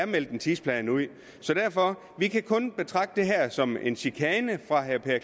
meldt en tidsplan ud så derfor vi kan kun betragte det her som en chikane fra herre per